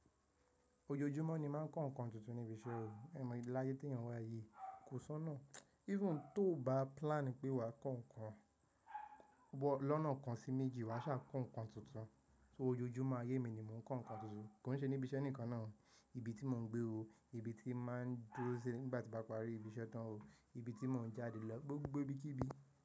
Ojoojúmọ́ ni máà ń kọ ǹkan tuntun ní ibi iṣẹ́ mi. Ẹ̀ mọ ilé láyé tí ènìyàn wa ayé kò sọ́nà. Even tó ò bá plan pé wa kọ ǹkan, wọ́n lọ́nà kan sí méjì wa ṣà kọ ǹkan tuntun. So ojoojúmọ́ ayé mi ni mò ń kọ ǹkan tuntun. Kò ń ṣe níbi iṣẹ́ nìkan náà, ibi tí mò ń gbé ó, ibi tí màá ń dúró sí nígbà tí bá parí ibi iṣẹ́ tán o, ibi tí mò ń jáde lọ gbogbo ibi kí ibi.